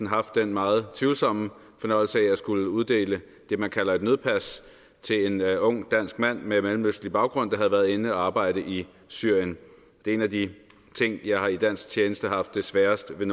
haft den meget tvivlsomme fornøjelse af at skulle uddele det man kalder et nødpas til en ung dansk mand med mellemøstlig baggrund der havde været inde og arbejde i syrien det er en af de ting jeg i dansk tjeneste har haft sværest ved